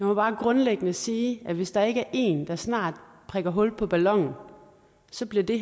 må bare grundlæggende sige at hvis der ikke er en der snart prikker hul på ballonen så bliver det